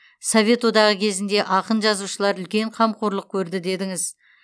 совет одағы кезінде ақын жазушылар үлкен қамқорлық көрді дедіңіз